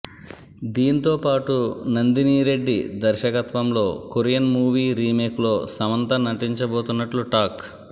దీంతో పాటు నందినీ రెడ్డి దర్శకత్వంలో కొరియన్ మూవీ రీమేక్లో సమంత నటించబోతున్నట్లు టాక్